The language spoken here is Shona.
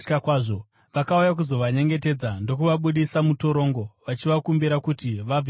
Vakauya kuzovanyengetedza ndokuvabudisa mutorongo, vachivakumbira kuti vabve muguta.